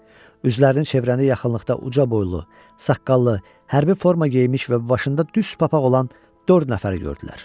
Üzlərini çevirəndə yaxınlıqda uca boylu, saqqallı, hərbi forma geyinmiş və başında düz papaq olan dörd nəfər gördülər.